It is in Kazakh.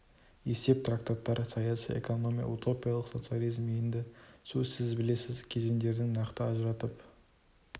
есеп трактаттар саяси экономия утопиялық социализм енді сіз білесіз кезеңдерін нақты ажыратып